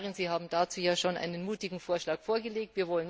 Frau Kommissarin, Sie haben dazu ja schon einen mutigen Vorschlag vorgelegt.